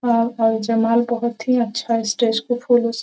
अ अ जय माल बहोत ही अच्छा स्टेज को फूलो से --